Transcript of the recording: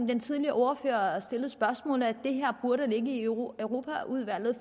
den tidligere ordfører stillede spørgsmål om nemlig at det her burde ligge i europaudvalget